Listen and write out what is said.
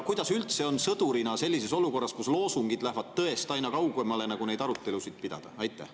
Kuidas üldse on sõdurina sellises olukorras, kus loosungid lähevad tõest aina kaugemale, neid arutelusid pidada?